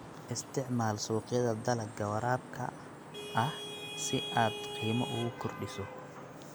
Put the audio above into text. Isticmaal suuqyada dalagga waraabka ah si aad qiimo ugu kordhiso.